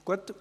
Gut